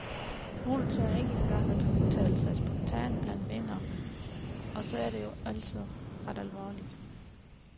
Nogle tør ikke engang udtale sig spontant blandt venner, og så er det jo altså ret alvorligt.